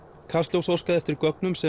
kastljós óskaði eftir gögnum sem